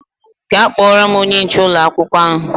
Gaa kpọọrọ m onye nche ụlọ akwụkwọ ahụ!